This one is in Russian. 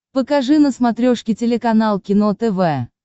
покажи на смотрешке телеканал кино тв